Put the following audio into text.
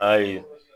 Ayi